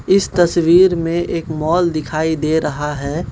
इस तस्वीर में एक मॉल दिखाई दे रहा है।